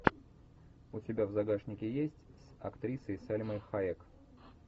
у тебя в загашнике есть с актрисой сальмой хайек